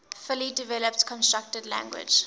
fully developed constructed language